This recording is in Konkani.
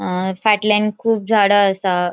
अ फाटल्यान खूब झाडा असा.